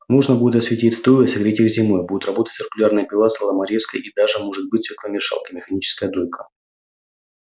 можно будет осветить стойла и согреть их зимой будет работать циркулярная пила соломорезка и даже может быть свекломешалка и механическая дойка